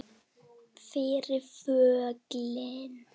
Fyrir föllin